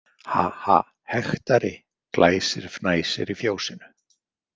Ha- ha- hektari Glæsir fnæsir í fjósinu.